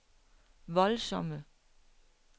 voldsomme